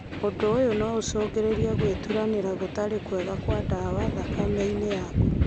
ũndũ ũyũ no ũcũngĩrĩrie gwĩturanĩra gũtarĩ kwega kwa ndawa thakame-inĩ yaku